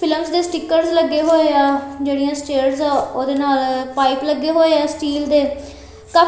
pillars ਦੇ stickers ਲੱਗੇ ਹੋਏ ਆ ਜਿਹੜੀਆਂ ਸਟੈਅਰਸ ਐ ਉਹਦੇ ਨਾਲ ਪਾਈਪ ਲੱਗੇ ਹੋਏ ਆ ਸਟੀਲ ਦੇ ਕਾ--